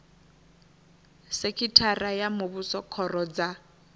sekhithara ya muvhuso khoro dza